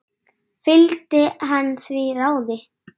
Fylgdi hann því ráði.